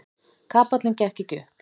Kapallinn gekk ekki upp.